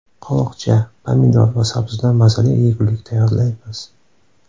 Qovoqcha, pomidor va sabzidan mazali yegulik tayyorlaymiz.